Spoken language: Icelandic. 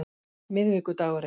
miðvikudaginn